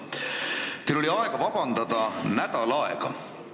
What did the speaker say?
Teil oli terve nädal aega vabandust paluda.